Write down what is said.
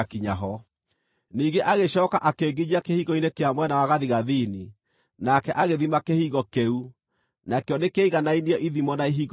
Ningĩ agĩcooka akĩnginyia kĩhingo-inĩ kĩa mwena wa gathigathini, nake agĩthima kĩhingo kĩu. Nakĩo nĩkĩaiganainie ithimo na ihingo icio ingĩ,